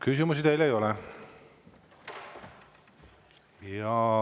Küsimusi teile ei ole.